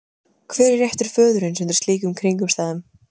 Hver er réttur föðurins undir slíkum kringumstæðum?